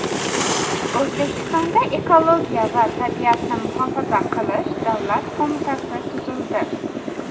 O‘zbekistonda Ekologiya va tabiatni muhofaza qilish davlat qo‘mitasi tuzildi .